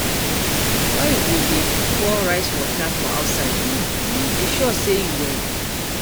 Why you go dey pour rice water for outside? You sure say you well?